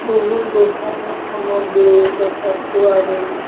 বহু লোহাৰৰ সামগ্ৰীও দেখা পোৱা গৈছে।